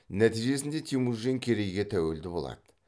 нәтижесінде темүжин керейге тәуелді болады